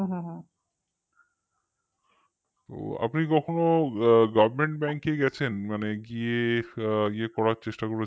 আপনি কখনো government bank এ গেছেন বা গিয়ে করার চেষ্টা করেছেন